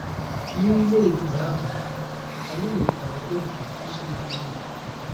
N’ime ìgwè ahụ, anyị nwekwara oge ịkụziri.